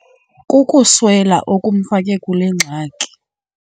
Kukuswela okumfake kule ngxaki.